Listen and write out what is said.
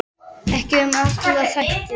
Ekki um aðra þætti.